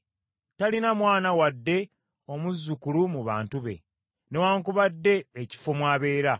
Talina mwana wadde omuzzukulu mu bantu be, newaakubadde ekifo mwabeera.